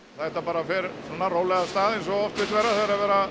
þetta bara fer svona rólega af stað eins og oft vill vera þegar